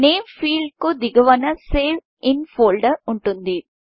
name field కు దిగువన save in folderసేవ్ ఇన్ ఫోల్డర్ ఉంటుంది